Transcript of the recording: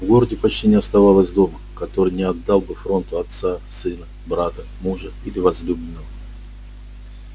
в городе почти не оставалось дома который не отдал бы фронту отца сына брата мужа или возлюбленного